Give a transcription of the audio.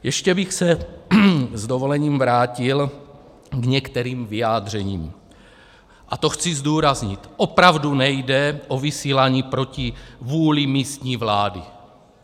Ještě bych se s dovolením vrátil k některým vyjádřením, a to - chci zdůraznit - opravdu nejde o vysílání proti vůli místní vlády.